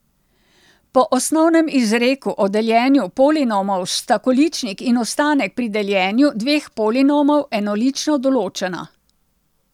Po osnovnem izreku o deljenju polinomov sta količnik in ostanek pri deljenju dveh polinomov enolično določena.